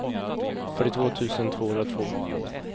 fyrtiotvå tusen tvåhundratvå